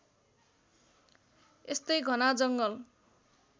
यस्तै घना जङ्गल